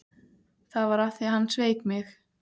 Það var af því að hann sveik mig.